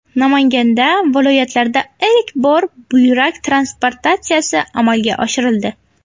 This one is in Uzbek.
Namanganda viloyatlarda ilk bor buyrak transplantatsiyasi amalga oshirildi.